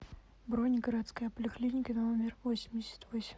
бронь городская поликлиника номер восемьдесят восемь